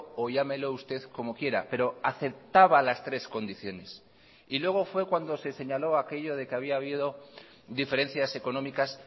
o llámelo usted como quiera pero aceptaba las tres condiciones y luego fue cuando se señaló aquello de que había habido diferencias económicas